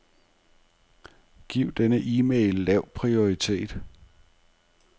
Giv denne e-mail lav prioritet.